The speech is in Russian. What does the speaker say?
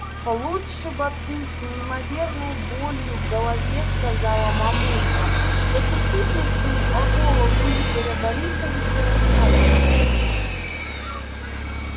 лучше бы ты с неимоверной болью в голове сказала мамулька эту супницу о голову игоря борисовича расколол